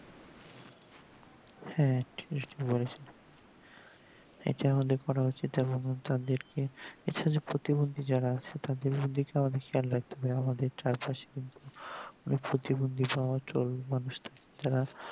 হ্যাঁ ঠিক বলেছেন এটা করা উচিত তাদেরকে যেসব প্রতিবন্দী যারা আছে তাদেরকে খেয়াল রাখা আমাদের চার পশে কিন্তু প্রতিবন্দি বা অচল মানুষ যারা